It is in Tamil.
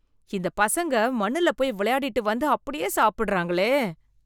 இந்த பசங்க மண்ணுல போய் விளையாடிட்டு வந்து அப்படியே சாப்பிடுறாங்களே.